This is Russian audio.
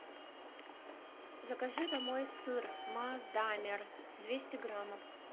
закажи домой сыр маасдамер двести граммов